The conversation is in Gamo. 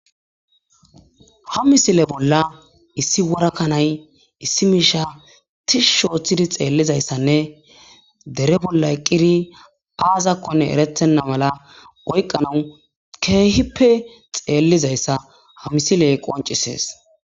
ha misile bolla issi wora kanay issi miisha tishshi ooththidi xeellizayssanne dere bolla eqqiddi aazakkonne erettenna mala oykqanawu keehippe xeellizayssa ha misiley qoncisees